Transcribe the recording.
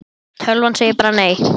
Tölvan bara segir nei.